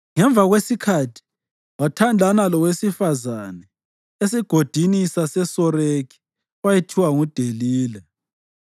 Ngemva kwesikhathi, wathandana lowesifazane esiGodini saseSoreki owayethiwa nguDelila.